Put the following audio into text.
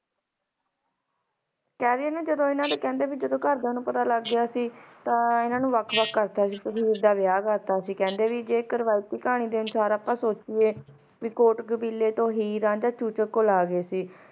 ਕਹ ਰਾਇ ਆਂ ਨਾ ਇਨਾਂ ਦੇ ਕੇਹ੍ਨ੍ਡੇ ਜਦੋ ਘਰ ਦਯਾ ਨੂ ਪਤਾ ਲਾਗ ਗਯਾ ਸੀ ਤਾਂ ਇਨਾਂ ਨੂ ਵਖ ਵਖ ਕਰਤਾ ਸੀ ਤੇ ਹੀਰ ਦਾ ਵਿਯਾਹ ਕਰਤਾ ਸੀ ਕੇਹ੍ਨ੍ਡੇ ਭਾਈ ਜੀ ਕਰ ਕਹਾਨੀ ਦਾ ਅਨੁਸਾਰ ਆਪਾਂ ਸੋਚਿਯੇ ਵੀ ਓਟ ਕਾਬਿਲੇ ਤੋਂ ਹੀਰ ਰਾਂਝਾ ਚੂਚਕ ਕੋਲ ਅਗੇ ਸੀ